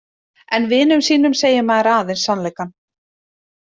En vinum sínum segir maður aðeins sannleikann.